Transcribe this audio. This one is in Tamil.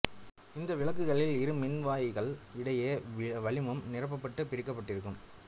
இந்த விளக்குகளில் இரு மின்வாயிகள் இடையே வளிமம் நிரப்பப்பட்டு பிரிக்கப்பட்டிருக்கும்